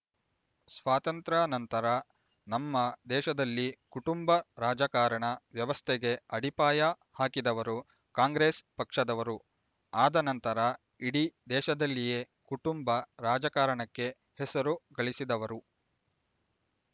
ಸ್ವಾತಂತ್ರ್ಯ ನಂತರ ನಮ್ಮ ದೇಶದಲ್ಲಿ ಕುಟುಂಬ ರಾಜಕಾರಣ ವ್ಯವಸ್ಥೆಗೆ ಅಡಿಪಾಯ ಹಾಕಿದವರು ಕಾಂಗ್ರೆಸ್ ಪಕ್ಷದವರು ಆದ ನಂತರ ಇಡೀ ದೇಶದಲ್ಲಿಯೇ ಕುಟುಂಬ ರಾಜಕಾರಣಕ್ಕೆ ಹೆಸರು ಗಳಿಸಿದವರು